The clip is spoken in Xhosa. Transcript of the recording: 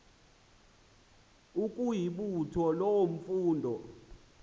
ukuyibutha loo mfundo